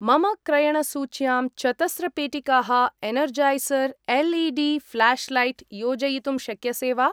मम क्रयणसूच्यां चतस्र पेटिकाः एनर्जैसर् एल्.ई.डी. फ्लाश्लैट् योजयितुं शक्यसे वा?